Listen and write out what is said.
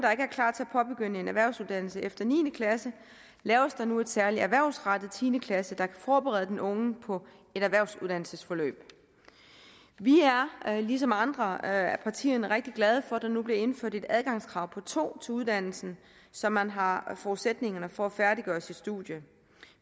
påbegynde en erhvervsuddannelse efter niende klasse laves der nu en særlig erhvervsrettet tiende klasse der kan forberede den unge på et erhvervsuddannelsesforløb vi er ligesom andre af partierne rigtig glade for at der nu bliver indført et adgangskrav på nul to til uddannelsen så man har forudsætningerne for at færdiggøre sit studie